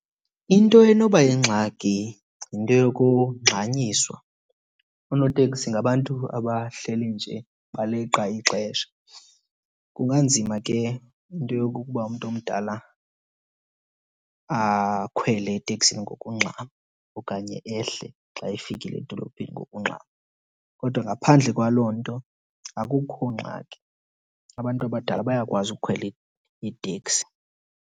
Into enoba yingxaki yinto yokungxanyiswa. Oonoteksi ngabantu abahleli nje baleqa ixesha. Kunganzima ke into yokokuba umntu omdala akhwele eteksini ngokungxama okanye ehle xa efikile edolophini ngokungxama. Kodwa ngaphandle kwaloo nto akukho ngxaki, abantu abadala bayakwazi ukukhwela iiteksi.